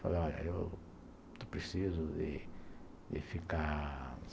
Falei, olha, eu estou preciso de ficar.